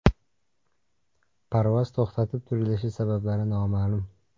Parvoz to‘xtatib turilishi sabablari noma’lum.